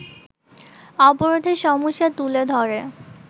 অবরোধের সমস্যা তুলে ধরে